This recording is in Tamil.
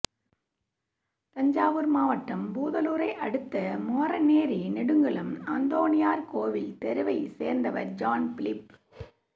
தஞ்சாவூர் மாவட்டம் பூதலூரை அடுத்த மாரநேரி நெடுங்குளம் அந்தோணியார் கோவில் தெருவைச் சேர்ந்தவர் ஜான் பிலிப்